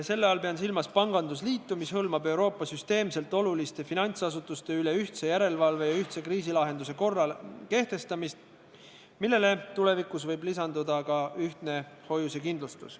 Selle all pean silmas pangandusliitu, mis hõlmab Euroopa süsteemselt oluliste finantsasutuste üle ühtse järelevalve ja ühtse kriisilahenduse korra kehtestamist, millele tulevikus võib lisanduda ka ühtne hoiusekindlustus.